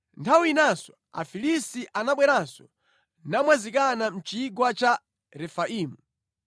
Nthawi inanso Afilisti anabweranso namwazikana mʼChigwa cha Refaimu;